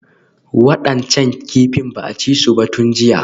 Waɗancan kifin ba a ci su ba tun jiya